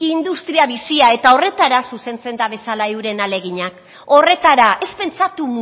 industria bizia eta horretara zuzentzen dabezala euren ahaleginak horretara ez pentsatu